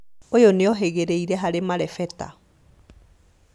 ũyũ nĩohĩgĩrĩire harĩ marebeta